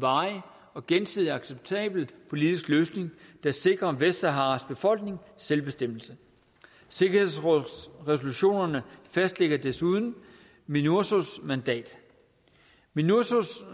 varig og gensidigt acceptabel politisk løsning der sikrer vestsaharas befolkning selvbestemmelse sikkerhedsrådets resolutioner fastlægger desuden minursos mandat minurso